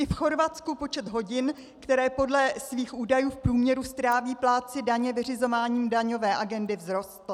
I v Chorvatsku počet hodin, které podle svých údajů v průměru stráví plátci daně vyřizováním daňové agendy, vzrostl.